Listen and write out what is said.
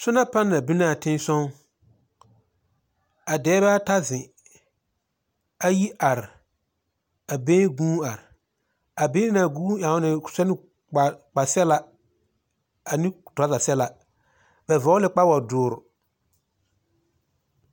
Nyona panԑl be naa tensͻgͻ. a dԑԑbԑԑԑta zeŋ, ayi are, a bԑԑyeŋ guuni are. A bԑԑyeŋ naŋ guun are eԑo ne sԑne kpare kpa sԑlaa ane turͻͻza sԑlaa. Ba vͻͻle la kpawodõõre.